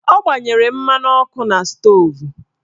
Ọ gbanyere mmanụ ọkụ na stoovu